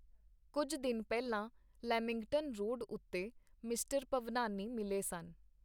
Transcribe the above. ਕੁੱਝ ਦਿਨ ਪਹਿਲਾਂ ਲੈਮਿੰਗਟਨ ਰੋਡ ਉਤੇ ਮਿਸਟਰ ਭਵਨਾਨੀ ਮਿਲੇ ਸਨ.